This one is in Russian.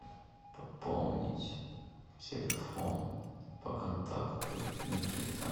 пополнить телефон по контакту никита